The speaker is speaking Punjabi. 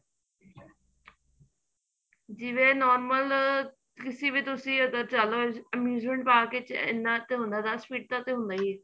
ਜਿਵੇਂ normal ਕਿਸੇ ਵੀ ਤੁਸੀਂ ਚਲੋ abusement park ਵਿੱਚ ਇੰਨਾ ਕ ਹੁੰਦਾ ਦੱਸ ਫਿਟ ਦਾ ਤਾਂ ਹੁੰਦਾ ਈ ਏ